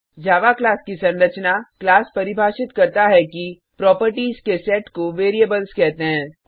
जावा class की संरचना class परिभाषित करता है कि प्रोपर्टिस के सेट को वेरिएबल्स कहते हैं